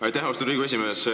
Aitäh, austatud Riigikogu esimees!